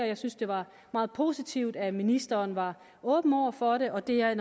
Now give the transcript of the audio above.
jeg synes det var meget positivt at ministeren var åben over for det og det er